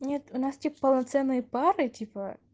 нет у нас тип полноценные пары типа